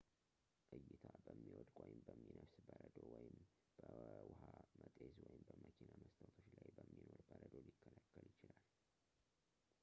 ዕይታ በሚወድቅ ወይም በሚነፍስ በረዶ ወይም በውሃ መጤዝ ወይም በመኪና መስታወቶች ላይ በሚኖር በረዶ ሊከለከል ይችላል